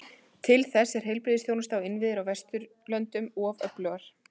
Til þess er heilbrigðisþjónusta og innviðir á Vesturlöndum of öflug.